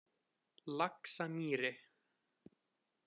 Laxamýri